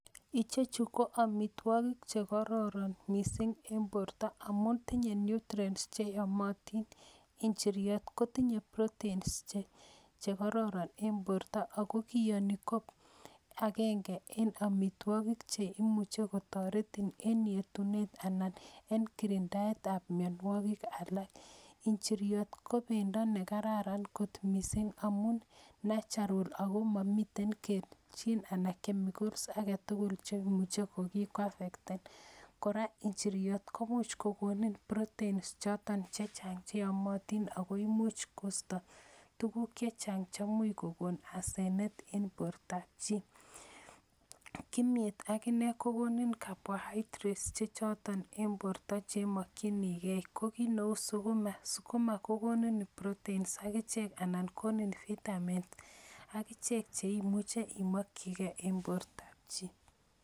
Ichechu ko amitwogik che kororon mising en borta amun tinye nutrients che yomotin, injiriot kotinye proteins che kororon en borta ako kiyoni ko akenge en amitwogik che imuche kotoretin en yetunet anan en kirindaetab mionwogik alak, injiriot ko bendo ne kararan kot mising amun natural ako mamiten anan chemicals ake tugul che imuche ko ki kwafectan, kora injiriot komuch kokoni proteins choton che chang che yomotin ako imuch koisto tukuk che chang chemuch kokon asenet en bortab chi, kimyet akine kokonin carbohydrates chechoton en borta che mokchinikei, ko kiit neu sukuma, sukuma kokoni proteins akichek anan konin vitamins akichek cheimuch imokchikei en bortab chi.